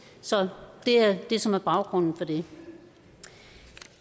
så det er det som er baggrunden for det